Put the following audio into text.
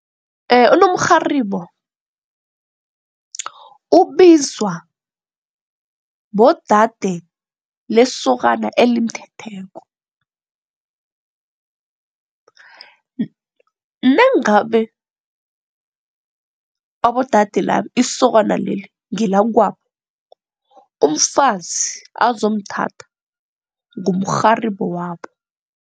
Unomrharibo, ubizwa bodade lesokana elimthetheko nangabe abodade laba isokana leli ngelakwabo umfazi azomthatha ngumrharibo wabo.